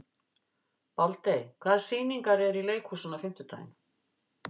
Baldey, hvaða sýningar eru í leikhúsinu á fimmtudaginn?